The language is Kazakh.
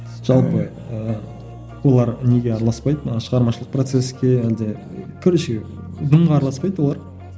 жалпы ыыы олар неге араласпайды мана шығармашылық процеске әлде короче дымға араласпайды олар